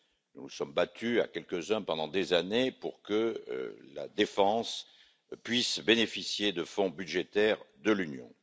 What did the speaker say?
Nous nous sommes battus à quelques uns, pendant des années, pour que la défense puisse bénéficier de fonds budgétaires de l'Union.